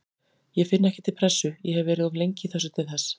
Ég finn ekki til pressu, ég hef verið of lengi í þessu til þess.